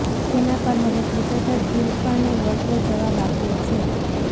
જેના પર હવે ક્રિકેટર ઇરફાને વળતો જવાબ આપ્યો છે